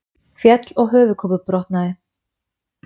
Féll og höfuðkúpubrotnaði